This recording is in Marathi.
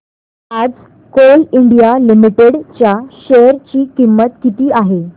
आज कोल इंडिया लिमिटेड च्या शेअर ची किंमत किती आहे